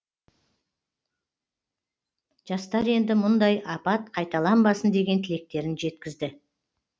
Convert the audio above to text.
жастар енді мұндай апат қайталанбасын деген тілектерін жеткізді